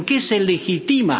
¿En qué se legitima?